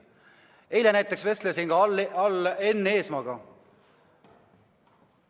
Eile ma näiteks vestlesin Enn Eesmaaga.